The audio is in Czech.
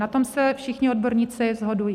Na tom se všichni odborníci shodují.